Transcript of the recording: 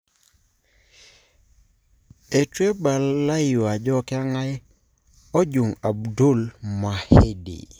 Etueibalayu ajo kengae ojung Abdul Mahdi.